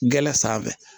Gɛlɛn sanfɛ